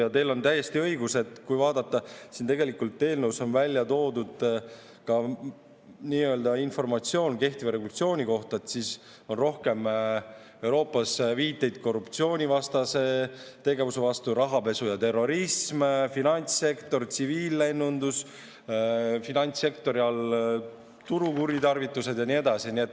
Ja teil on täiesti õigus, et kui vaadata, siin eelnõus on välja toodud informatsioon kehtiva regulatsiooni kohta, siis on rohkem Euroopas viiteid korruptsioonivastasele tegevusele, rahapesu ja terrorism, finantssektor, tsiviillennundus, finantssektori all turukuritarvitused ja nii edasi.